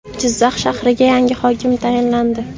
Jizzax shahriga yangi hokim tayinlandi.